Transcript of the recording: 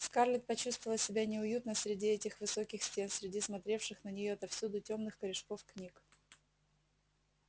скарлетт почувствовала себя неуютно среди этих высоких стен среди смотревших на неё отовсюду тёмных корешков книг